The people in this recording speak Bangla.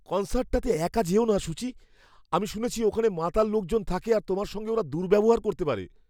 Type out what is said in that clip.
কন্সার্টটাতে একা যেও না, সূচি। আমি শুনেছি ওখানে মাতাল লোকজন থাকে আর তোমার সঙ্গে ওরা দুর্ব্যবহার করতে পারে।